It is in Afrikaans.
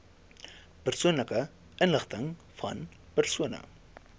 persoonlike inligtingvan persone